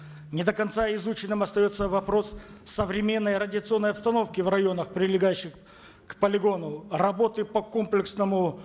не до конца изученным остается вопрос современной радиационной обстановки в районах прилегающих к полигону работы по комплексному